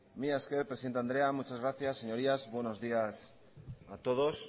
mila esker presidente andrea muchas gracias señorías buenos días a todos